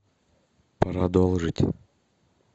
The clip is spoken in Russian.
продолжить